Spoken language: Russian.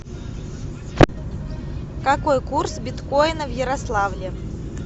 какой курс биткоина в ярославле